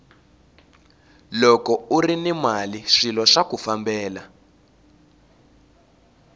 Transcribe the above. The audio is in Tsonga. loko urini mali swilo swaku fambela